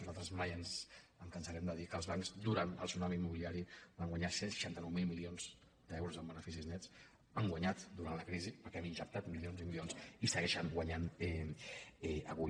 nosaltres mai ens cansarem de dir que els bancs durant el tsunami immobiliari van guanyar cent i seixanta nou mil milions d’euros en beneficis nets hi han guanyat durant la crisi perquè hi hem injectat mi·lions i milions i hi segueixen guanyant avui